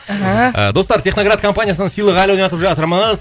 ааа достар техноград компаниясынан сыйлық әлі ойнатып жатырмыз